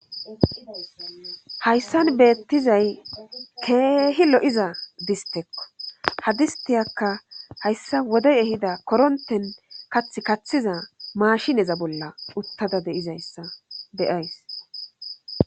hayssan beettizay keehi lo7iza distekko hadistiyakka hayssa wodey ehida koronten kath kaththiza maashineza bolla uttada de'izayssa beyays